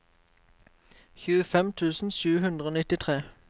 tjuefem tusen sju hundre og nittitre